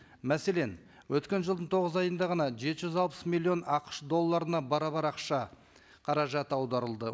мәселен өткен жылдың тоғыз айында ғана жеті жүз алпыс миллион ақш долларына барабар ақша қаражат аударылды